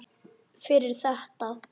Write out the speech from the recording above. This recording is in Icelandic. Fyrir þetta.